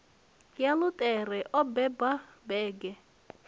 ya luṱere o beba bege